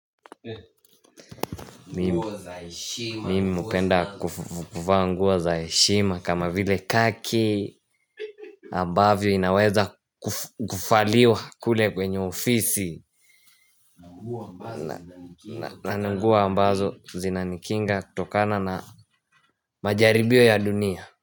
Mimu hupenda kuvaa nguo za heshima kama vile kaki ambavyo inaweza kufaliwa kule kwenye ofisi na ni nguo ambazo zinanikinga kutokana na majaribio ya dunia.